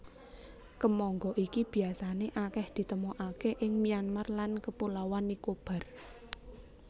Kemangga iki biasané akèh ditemokaké ing Myanmar lan Kapulauan Nicobar